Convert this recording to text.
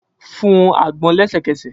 Fun u agbon lẹsẹkẹsẹ!